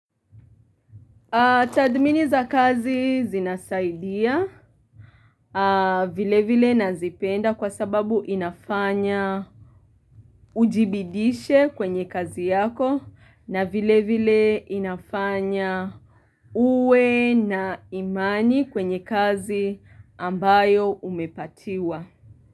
Tathmini za kazi zinasaidia vile vile na zipenda kwa sababu inafanya ujibidiishe kwenye kazi yako na vile vile inafanya uwe na imani kwenye kazi ambayo umepatiwa.